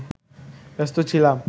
ব্যস্ত ছিলাম